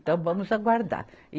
Então vamos aguardar.